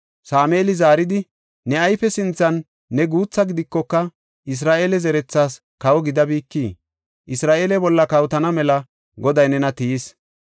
Sameeli zaaridi, “Ne ayfe sinthan ne guutha gidikoka, Isra7eele zerethaas kawo gidabikii? Isra7eele bolla kawotana mela Goday nena tiyis.